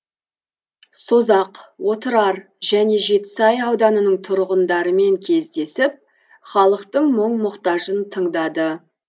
созақ отырар және жетісай ауданының тұрғындарымен кездесіп халықтың мұң мұқтажын тыңдады